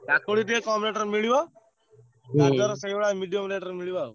କାକୁଡି ଟିକେ କମ rate ରେ ମିଳିବ ।